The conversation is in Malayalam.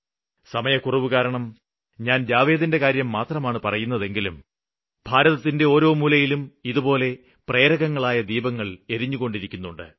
സമയക്കുറവുകാരണം ഞാന് ജാവേദിന്റെ കാര്യം മാത്രമാണ് പറയുന്നതെങ്കിലും ഭാരതത്തിന്റെ ഓരോ മൂലയിലും ഇതുപോലെ പ്രേരകങ്ങളായ ദീപങ്ങള് എരിഞ്ഞുകൊണ്ടിരിക്കുന്നുണ്ട്